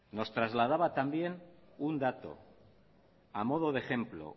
nos trasladaba también un dato a modo de ejemplo